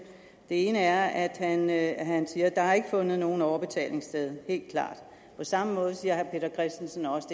ene er at at han siger at der ikke fundet nogen overbetaling sted helt klart på samme måde siger herre peter christensen også